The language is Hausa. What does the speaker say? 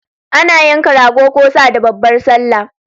Ana yanka Rago ko Sa da babbar sallah